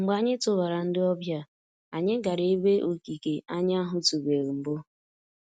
Mgbe anyị tụbara ndị ọbịa, anyị gara ebe okike anyị ahụtụbeghị mbụ.